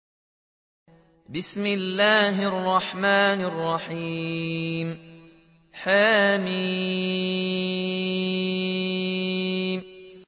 حم